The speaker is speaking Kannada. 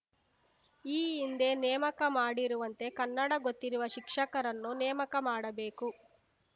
ಈ ಹಿಂದೆ ನೇಮಕ ಮಾಡಿರುವಂತೆ ಕನ್ನಡ ಗೊತ್ತಿರುವ ಶಿಕ್ಷಕರನ್ನು ನೇಮಕ ಮಾಡಬೇಕು